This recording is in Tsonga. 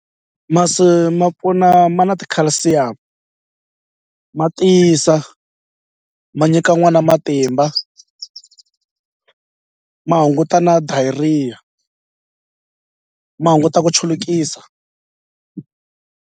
Masi ma pfuna ma na ti-calcium ma tiyisa ma nyika n'wana matimba ma hunguta na diarrhea ma hunguta ku chulukisa.